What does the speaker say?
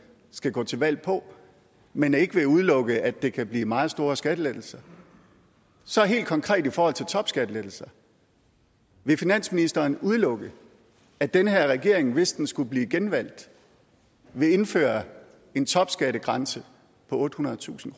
skal gå til valg på men ikke ville udelukke at det kan blive meget store skattelettelser så helt konkret i forhold til topskattelettelser vil finansministeren udelukke at den her regering hvis den skulle blive genvalgt vil indføre en topskattegrænse på ottehundredetusind